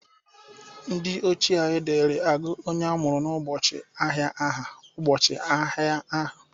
Ndị ochie dịri agụ onye amụru n'ụbọchị ahịa aha ụbọchị ahia ahụ.